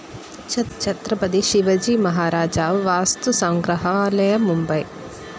Chhatrapati Shivaji Maharaj Vastu Sangrahalaya, Mumbai